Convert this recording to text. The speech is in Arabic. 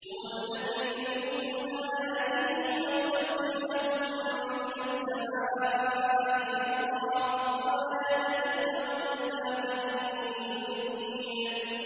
هُوَ الَّذِي يُرِيكُمْ آيَاتِهِ وَيُنَزِّلُ لَكُم مِّنَ السَّمَاءِ رِزْقًا ۚ وَمَا يَتَذَكَّرُ إِلَّا مَن يُنِيبُ